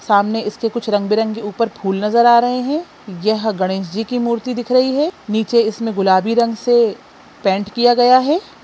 सामने इसके कुछ रंग-बिरंगे ऊपर फूल नजर आ रहे है यह गणेश जी की मूर्ति दिख रही है नीचे इसमे गुलाबी रंग से पेंट किया गया है।